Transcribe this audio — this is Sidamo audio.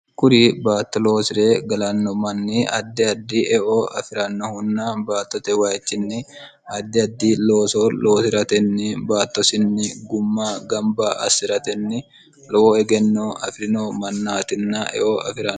kuri baatto loosire galanno manni addi addi eo afi'rannohunna baattote wayichinni addi addi looso loosi'ratenni baattosinni gumma gamba assi'ratenni lowo egenno afi'rino mannaatinna eo afirono